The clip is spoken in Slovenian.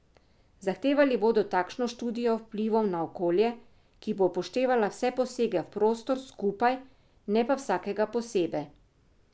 Zahtevali bodo takšno študijo vplivov na okolje, ki bo upoštevala vse posege v prostor skupaj, ne pa vsakega posebej.